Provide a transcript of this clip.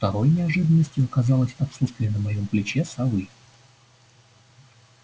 второй неожиданностью оказалось отсутствие на моем плече совы